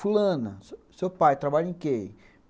Fulana, seu seu pai trabalha em que?